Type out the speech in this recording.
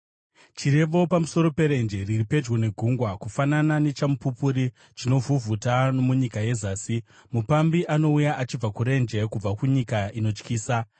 Chirevo pamusoro peRenje riri pedyo neGungwa: Kufanana nechamupupuri chinovhuvhuta nomunyika yezasi, mupambi anouya achibva kurenje, kubva kunyika inotyisa.